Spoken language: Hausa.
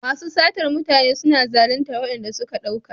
Masu satar mutane suna zalintar waɗanda suka ɗauka.